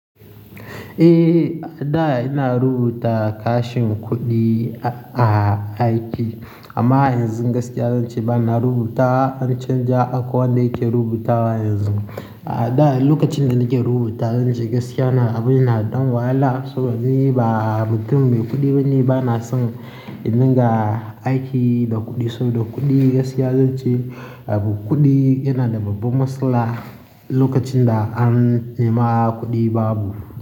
Eh, a da ina rubuta kashin kuɗi a aiki. Amma yanzu gaskiya zanci ba na rubutawa, an canja akwai wanda yake rubutawa yanzu. A da lokacin da nake rubuta zance gaskiya abun yana ɗan wahala saboda ni ba mutum mai kuɗi bane, ba na san in dinga aiki da kuɗi. Saboda kuɗi gaskiya zance abu, kuɗi yana da babba matsala lokacin da an nema kuɗi babu.